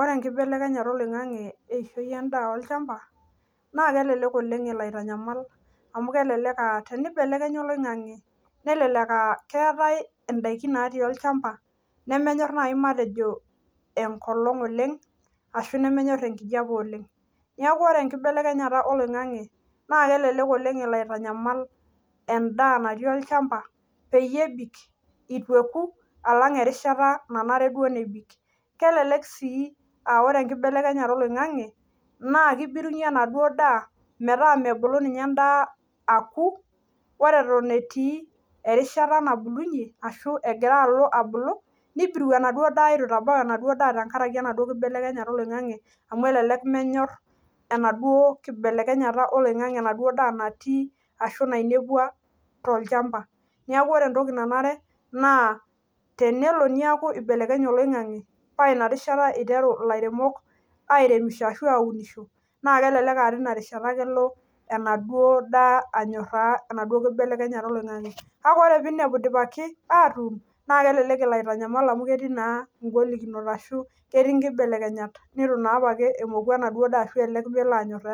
Ore enkibelekenyeta oloingange o eishoi endaa, olchamba naa kelelek oleng elo aitanyamal amu teneibelekenya oloingange nelelek aaa keetae ndaiki naati olchamba nemenyorr naaji enkolong oleng, ashu nemenyorr enkijape oleng neeku ore enkibelekenyeta oloingange naa kelelek elo aitanyamal endaa natii olchamba peyie meku esidai, nelelek sii ebirunyie endaa metaa mebulu esidai. Neeku kenare neingorr lairemok erishata sidai eunore